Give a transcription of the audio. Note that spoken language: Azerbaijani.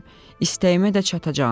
İstəyimə də çatacağam.